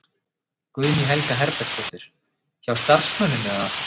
Guðný Helga Herbertsdóttir: Hjá starfsmönnum eða?